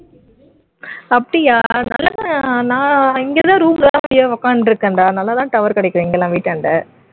அப்படியா நல்லா தான் நான் இங்கதான் room ல தான் அப்படியே உட்கார்ந்துட்டு இருக்கேன் டா நல்லா தான் tower கிடைக்கும் இங்கெல்லாம் வீட்டாண்ட